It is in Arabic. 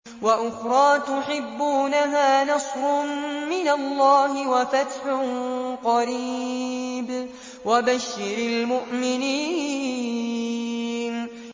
وَأُخْرَىٰ تُحِبُّونَهَا ۖ نَصْرٌ مِّنَ اللَّهِ وَفَتْحٌ قَرِيبٌ ۗ وَبَشِّرِ الْمُؤْمِنِينَ